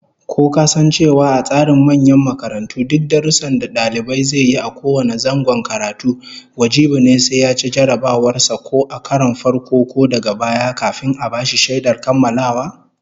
Ko kasan cewa a tsarin manyan makarantu duk darussan da dalibi zai yi a kowane zangon karatu wajibi ne sai yaci jarrabawar sa ko a karon farko ko daga baya, kafin a bashi shaidar kammalawa?